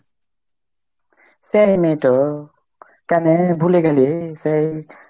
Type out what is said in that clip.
সেই মেয়েতো, কেনে ভুলে গেলি, সেই